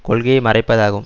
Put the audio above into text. கொள்கையை மறைப்பதாகும்